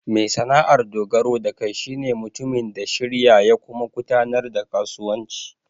Mai sana'ar dogaro da kai shi ne mutumin da shirya ya kuma gudanar da kasuwanci.